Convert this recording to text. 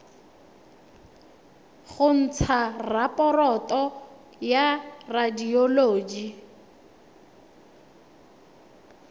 go ntsha raporoto ya radioloji